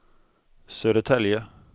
Södertälje